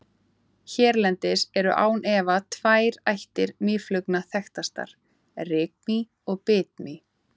Hérlendis eru án efa tvær ættir mýflugna þekktastar, rykmý og bitmý.